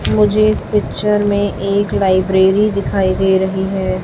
मुझे इस पिक्चर में एक लाइब्रेरी दिखाई दे रही है।